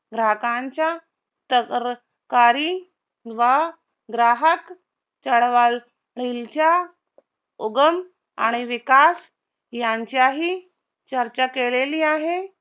ग्राहकांच्या तरकारी व ग्राहक चळवळ च्या उगम आणि विकास यांच्याही चर्चा केलेली आहे